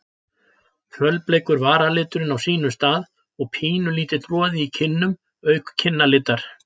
Fölbleikur varaliturinn á sínum stað og pínulítill roði í kinnum auk kinnalitar.